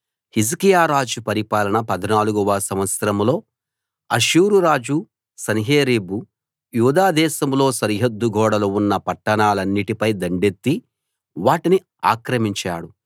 హిజ్కియా రాజు పరిపాలన 14 వ సంవత్సరంలో అష్షూరురాజు సన్హెరీబు యూదా దేశంలో సరిహద్దు గోడలు ఉన్న పట్టణాలన్నిటిపై దండెత్తి వాటిని ఆక్రమించాడు